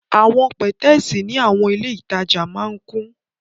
Awọn pẹtẹẹsì ni awọn ile itaja maa n kun